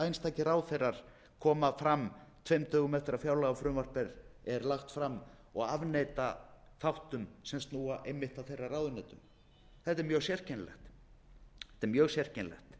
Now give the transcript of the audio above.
einstakir ráðherrar koma fram tveim dögum eftir að fjárlagafrumvarp er lagt fram og afneita þáttum sem snúa einmitt að þeirra ráðuneytum þetta er mjög sérkennilegt